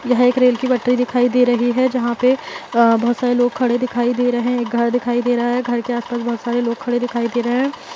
यह एक रेल की पटरी दिखाई दे रही है जहाँ पे अ बहुत सारे लोग खड़े दिखाई दे रहे हैं एक घर दिखाई दे रहा है घर के आसपास बहुत सारे लोग खड़े दिखाई दे रहे हैं।